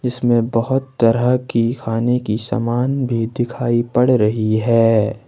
इसमें बहोत तरह की खाने की समान भी दिखाई पड़ रही है।